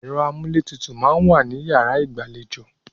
Ẹ̀rọ amúlétutù máa ń wà ní yàrá ìgbàlejò.